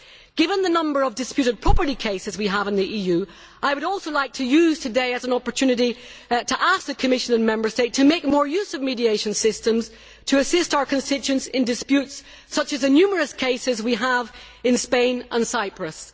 Given the number of disputed property cases we have in the EU, I would also like to use today as an opportunity to ask the Commission and the Member States to make more use of mediation systems to assist our constituents in disputes such as the numerous cases we have in Spain and Cyprus.